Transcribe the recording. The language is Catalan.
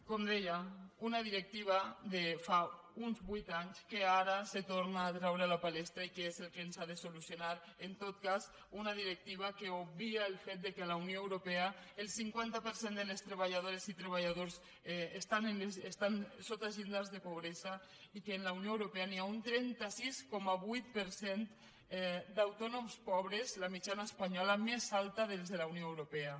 com deia una directiva de fa uns vuit anys que ara se torna a treure a la palestra i que és el que ens ha de solucionar en tot cas una directiva que obvia el fet que a la unió europea el cinquanta per cent de les treballadores i treballadors estan sota els llindars de pobresa i que en la unió europea hi ha un trenta sis coma vuit per cent d’autònoms pobres la mitjana espanyola més alta de les de la unió europea